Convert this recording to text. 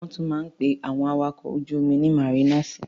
Wọ́n tún máa ń pe àwọn awakọ̀ ojú-omi ní màrínàsì.